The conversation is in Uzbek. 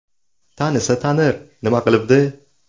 Tanisa, tanir, nima qilibdi?